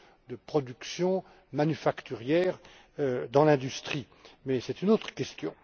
de production manufacturière dans l'industrie, mais il s'agit là d'une autre question.